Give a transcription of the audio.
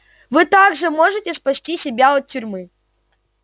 вы также можете спасти себя от тюрьмы